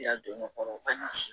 I y'a don n'o kɔrɔ an ɲ'a se